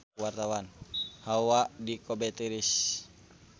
Hawa di Kobe tiris